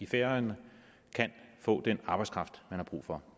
færøerne kan få den arbejdskraft man har brug for